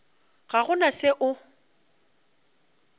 ga go na se o